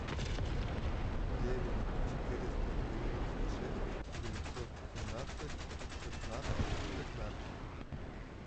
девять четыреста девяносто шесть девятьсот семнадцать шестнадцать пятнадцать